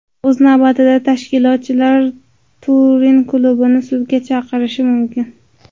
O‘z navbatida tashkilotchilar Turin klubini sudga berishi mumkin.